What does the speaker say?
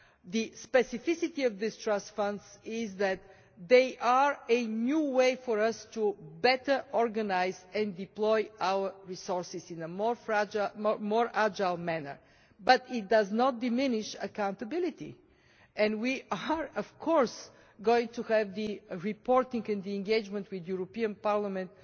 The specificity of these trust funds is that they are a new way for us to better organise and deploy our resources in a more agile manner, but it does not diminish accountability, and we are of course going to have the reporting to, and engagement with, the European Parliament.